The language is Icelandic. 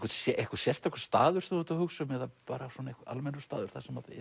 einhver sérstakur staður sem þú ert að hugsa um eða bara svona almennur staður